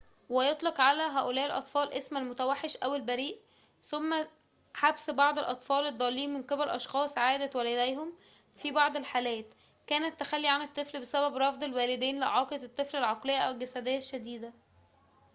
ويطلق على هؤلاء الأطفال اسم المتوحش أو البريّ. تمّ حبسُ بعضِ الأطفال الضّالين من قبل أشخاصٍ عادةً والديهم؛ في بعضِ الحالات، كان التّخلي عن الطّفل بسبب رفض الوالدين لإعاقة الطّفل العقليّة أو الجسديّة الشديدة